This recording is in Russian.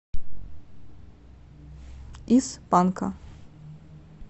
из панка